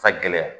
Ka gɛlɛya